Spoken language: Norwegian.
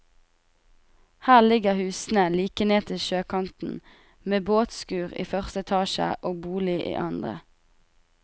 Her ligger husene like ned til sjøkanten med båtskur i første etasje og bolig i andre.